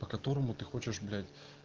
по которому ты хочешь блять